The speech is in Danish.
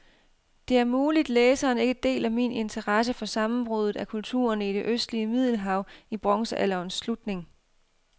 Det er muligt, læseren ikke deler min interesse for sammenbruddet af kulturerne i det østlige middelhav i bronzealderens slutning.